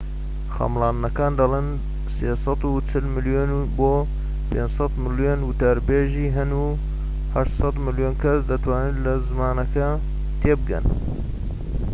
خەملاندنەکان دەڵێن ٣٤٠ ملیۆن بۆ ٥٠٠ ملیۆن وتاربێژی هەن و ٨٠٠ ملیۆن کەس دەتوانن لە زمانەکە تێبگەن